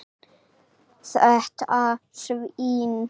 Þetta svín.